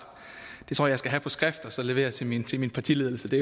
det tror jeg skal have på skrift og så levere til min til min partiledelse det